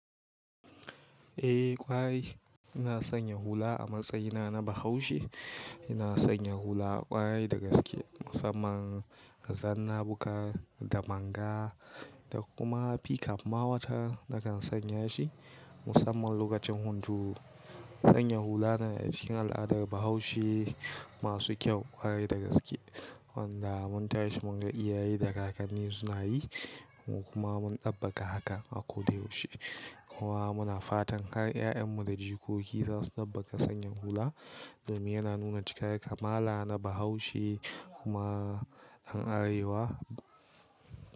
Eh ƙwarai ina sanya hula a matsayina na Bahaushe. Ina sanya hula ƙwarai da gaske musamman zanna, bukar da manga da kuma ficap ma wataran na kan sanya shi musamman lokacin hunturu. Sanya hula na cikin al'adar Bahaushe masu kyau ƙwarai da gaske wanda mun tashi mun ga iyaye da kakanni suna yi kuma mun ɗabbaƙa hakan a kodayaushe. Kowa muna fatan kar ƴaƴanmu da jikoki za su ɗabbaka sanya hula domin yana nuna cikar ya kamala na Bahaushe kuma ƴan arewa.